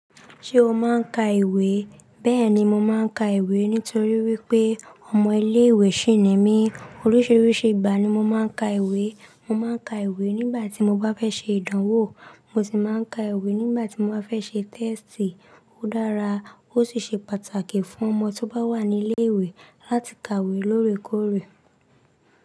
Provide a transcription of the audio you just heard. Ṣé o máa ń ka ìwé? Bẹ́ẹ̀ni, mo máa ń ka ìwé nítorí wípé ọmọ ilé ìwé sì ni mí. Oríṣiríṣi ìgbà ni mo máa ń ka ìwé. Mo máa ń ka ìwé nígbà tí mo bá fẹ́ ṣe ìdánwò, mo sì máa ń ka ìwé nígbà tí mo bá fẹ́ ṣe tẹ́ẹ̀stì. Ó dára, ó sì ṣe pàtàkì fún ọmọ tó bá wà ní ilé ìwé láti kàwé lóore kóòrè.